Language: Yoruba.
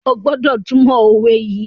O gbódò túmọ òwe yí!